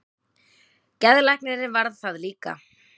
Geðlæknirinn varð það líka.